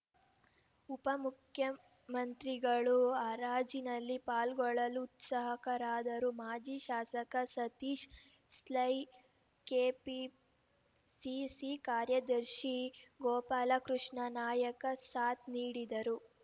ಉಪಮುಖ್ಯಮಂತ್ರಿಗಳೂ ಹರಾಜಿನಲ್ಲಿ ಪಾಲ್ಗೊಳ್ಳಲು ಉತ್ಸುಕರಾದರು ಮಾಜಿ ಶಾಸಕ ಸತೀಶ ಸೈಲ್‌ ಕೆಪಿಸಿಸಿ ಕಾರ್ಯದರ್ಶಿ ಗೋಪಾಲಕೃಷ್ಣ ನಾಯಕ ಸಾಥ್‌ ನೀಡಿದರು